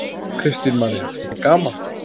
Kristín María: Er gaman?